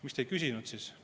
Miks te ei küsinud siis?